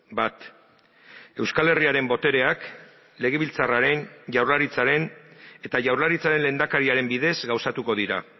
bat euskal herriaren botereak legebiltzarraren jaurlaritzaren eta jaurlaritzaren lehendakariaren bidez gauzatuko dira